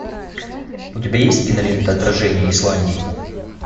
у тебя есть кинолента отражение исландии